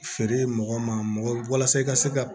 Feere mɔgɔ ma mɔgɔ walasa i ka se ka